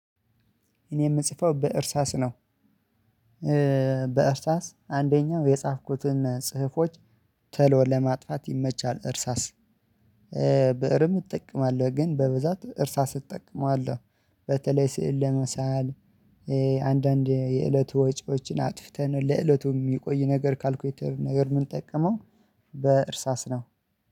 እኔ የምጽፈው በእርሳስ ነው። በእርሳስ አንደኛው የጻፍኩትን ጽህፎች ተሎ ለማጥፋት ይመቻል። እርሳስ ብእርም እጠቀማለሁ ግን በብዛት እርሳስ እጠቀማለሁ አለ። በተለይ ስዕል ለመሳል። አንዳንድ የእለቱ ወጪዎችን አጥፍተን ለእለቱ የሚቆይ ነገር ካልኩሌተር ነገር ምንጠቀመው በእርሳስ ነው።